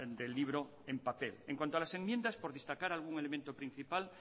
del libro en papel en cuanto a las enmiendas por destacar algún elemento principal